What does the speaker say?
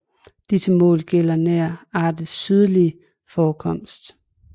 Disse mål gælder nær artens sydligste forekomst